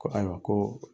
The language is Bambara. Ko ayiwa ko